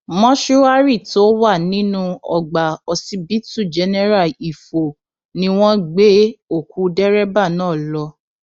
mòṣùárì tó wà nínú ọgbà ọsibítù jẹnẹra ifo ni wọn gbé òkú dẹrẹbà náà lọ